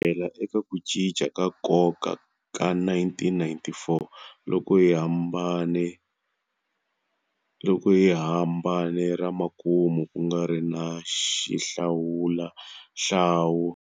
Kusukela eka ku cinca ka nkoka ka 1994 loko hi hambane ramakumu kungari na xihlawuhlawu.